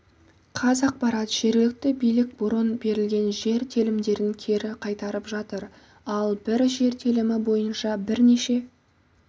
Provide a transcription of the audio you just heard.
қазақпарат жергілікті билік бұрын берілген жер телімдерін кері қайтарып жатыр ал бір жер телімі бойынша бірнеше